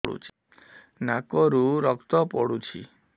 ନାକରୁ ରକ୍ତ ପଡୁଛି